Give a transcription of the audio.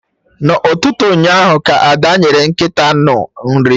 Na ụtụtụ ụnyaahụ ka Ada nyere nkịta anụ nri